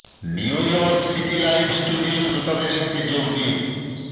new York সিটির live studio শ্রোতাদের সাথে যোগ দিন